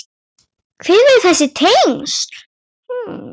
Hver eru þessi tengsl?